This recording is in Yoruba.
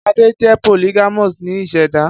Ade jẹ polygamous ni iseda